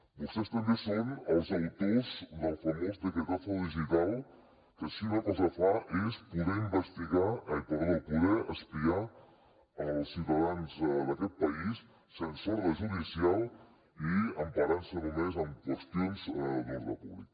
vostès també són els autors del famós decretazo digital que si una cosa fa és poder investigar ai perdó poder espiar els ciutadans d’aquest país sense ordre judicial i emparant se només en qüestions d’ordre públic